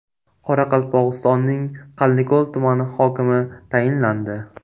Qoraqalpog‘istonning Qanliko‘l tumani hokimi tayinlandi.